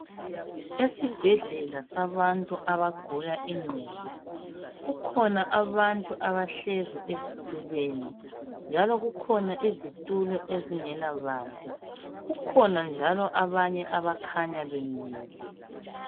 Esibhedlela sabantu abagula ingqondo kukhona abantu abahlezi ezitulweni njalo kukhona izithulo ezingela bantu. Kukhona njalo abanye abakhanya bemile.